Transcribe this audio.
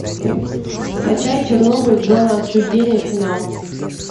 скачай чернобыль зона отчуждения финал